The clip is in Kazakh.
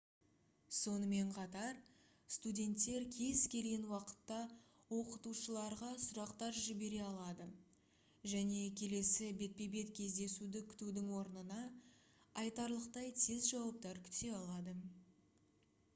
сонымен қатар студенттер кез келген уақытта оқытушыларға сұрақтар жібере алады және келесі бетпе-бет кездесуді күтудің орнына айтарлықтай тез жауаптар күте алады